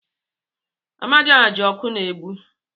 Amadioha ji oku na-egbu.